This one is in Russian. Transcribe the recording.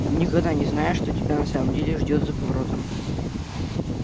и никогда не знаешь что тебя на самом деле ждёт за поворотом